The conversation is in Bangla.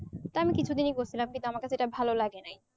কারণ কিছু দিনই করসিলাম যেটা আমাকে সেটা ভালো লাগে নাই